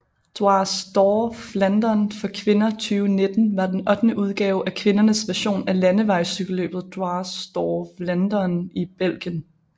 Dwars door Vlaanderen for kvinder 2019 var den ottende udgave af kvindernes version af landevejscykelløbet Dwars door Vlaanderen i Belgien